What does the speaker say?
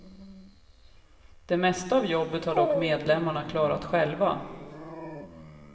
Det mesta av jobbet har dock medlemmarna klarat själva.